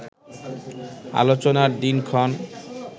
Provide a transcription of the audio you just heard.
আলোচনার দিনক্ষণ